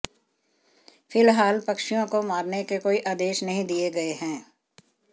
फिलहाल पक्षियों को मारने के कोई आदेश नही दिए गए है